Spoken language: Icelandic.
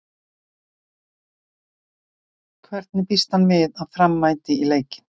Hvernig býst hann við að Fram mæti í leikinn?